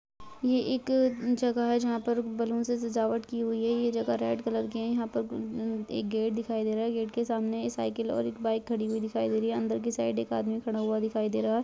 ये एक अ जगह है जहां पर बैलून से सजावट की हुई है ये जगह रेड कलर के है यहाँ पर उम्म एक गेट दिखाई दे रहा है गेट के सामने एक साइकिल और बाइक खड़ी हुए दिखाई दे रही है अंदर के साइड में एक आदमी खड़ा हुआ दिखाई दे रहा है।